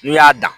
N'u y'a dan